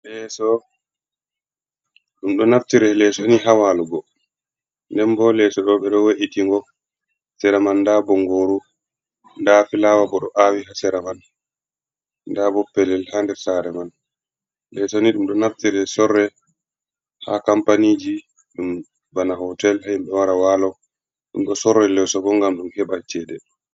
Leeso, ɗum ɗon naftira leeso ni haa waalugo. Nden bo leeso ɗoo ɓe ɗo we''iti ngo. Sera man ndaa bonngooru. Ndaa fulaaawa bo ɗo aawi haa sera man. Ndaa bo pellel haa nder saare man. Leeso ni ɗum ɗo naftiree, sorree haa kampaniiji ɗum bana hootel himɓe ɗo wara waalo. Ɗum ɗo sorra leeso bo ngam ɗum heɓa ceede.